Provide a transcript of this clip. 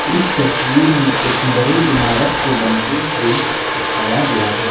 इस तस्वीर में एक बड़े इमारत को बनते हुए दिखाया गया है।